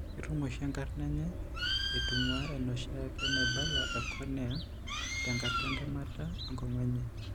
Ketum oshi enkarna enye eitung'uaa enoshiake naibala ecornea tenkata entemata enkong'u enye.